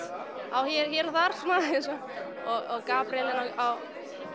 svona hér og þar eins og Gabríel á